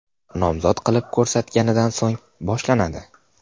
nomzod qilib ko‘rsatganidan so‘ng boshlanadi.